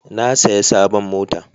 Na saya sabon mota